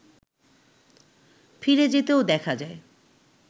ফিরে যেতেও দেখা যায়